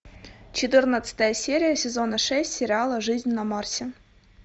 четырнадцатая серия сезона шесть сериала жизнь на марсе